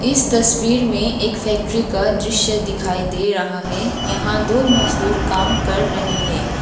इस तस्वीर में एक फैक्ट्री का दृश्य दिखाई दे रहा है यहां दो मजदूर काम कर रहे हैं।